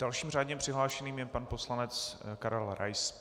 Dalším řádně přihlášeným je pan poslanec Karel Rais.